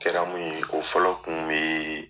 O Kɛra mun ye o fɔlɔ kun bi